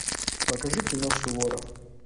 покажи кино суворов